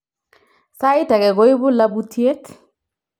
Saaitage koibu labutiet